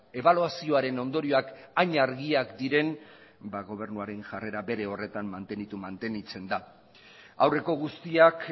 ebaluazioaren ondorioak hain argiak diren ba gobernuaren jarrera bere horretan mantenitzen da aurreko guztiak